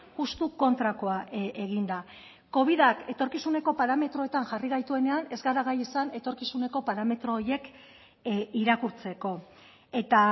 justu kontrakoa egin da covidak etorkizuneko parametroetan jarri gaituenean ez gara gai izan etorkizuneko parametro horiek irakurtzeko eta